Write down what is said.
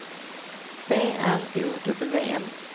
B R O W N